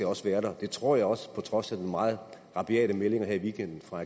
også være der det tror jeg også på trods af de meget rabiate meldinger her i weekenden fra